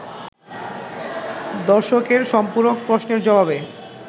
দর্শকদের সম্পূরক প্রশ্নের জবাবে